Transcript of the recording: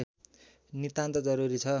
नितान्त जरुरी छ